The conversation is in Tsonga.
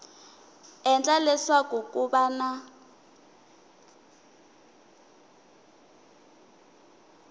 endla leswaku ku va na